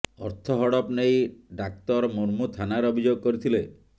ଅର୍ଥ ହଡପ ନେଇ ଡାକ୍ତର ମୁର୍ମୁ ଥାନାରେ ଅଭିଯୋଗ କରିଥିଲେ